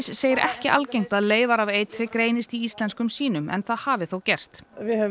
segir ekki algengt að leyfar af eitri greinist í íslenskum sýnum en það hafi þó gerst við höfum